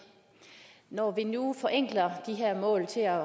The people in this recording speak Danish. når vi nu forenkler de her mål til at